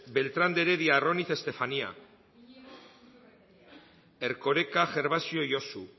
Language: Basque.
beltrán de heredia arroniz estefanía erkoreka gervasio josu